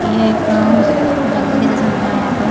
यह एक जंगल के जैसा दिख रहा है यहां पर।